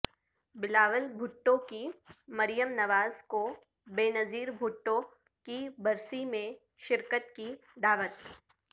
بلاول بھٹو کی مریم نواز کو بے نظیر بھٹو کی برسی میں شرکت کی دعوت